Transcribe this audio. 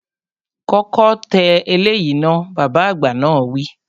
Kọ́kọ́ tẹ eléyìí náà, Bàbá àgbà náà wi